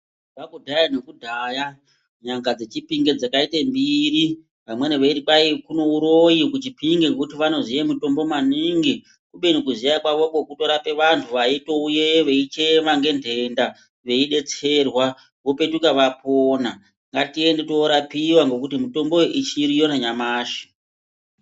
Kubva kudhaya nekudhaya nyanga dzeChipinge dzakaite mbiri vamweni veiti kwai kune uroyi kuChipinge ngekuti hai vanozoyi mitombo maningi kubeni kuziya kwavoko kutorapa vanthu vaitouyeyo veichema ngendenda veidetserwa vopetuke vapona ngatiende tinorapiwa ngekuti mitombo iyi ichiriyo nanyamashi.